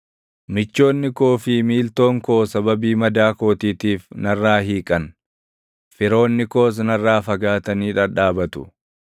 Michoonni koo fi miiltoon koo sababii madaa kootiitiif narraa hiiqan; firoonni koos narraa fagaatanii dhadhaabatu.